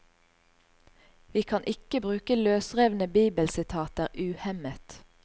Vi kan ikke bruke løsrevne bibelsitater uhemmet.